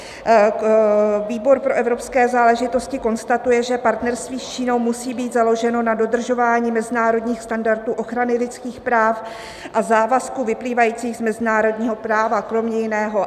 Výbor pro evropské záležitosti konstatuje, že partnerství s Čínou musí být založeno na dodržování mezinárodních standardů ochrany lidských práv a závazků vyplývajících z mezinárodního práva, kromě jiného.